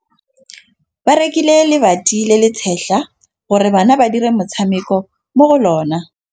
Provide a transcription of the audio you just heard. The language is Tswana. Ba rekile lebati le le setlha gore bana ba dire motshameko mo go lona.